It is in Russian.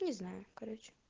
не знаю короче